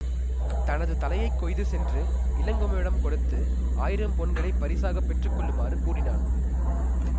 தனது தலையைக் கொய்து சென்று இளங்குமணனிடம் கொடுத்து ஆயிரம் பொன்களைப் பரிசாக பெற்றுக்கொள்ளுமாறு கூறினான்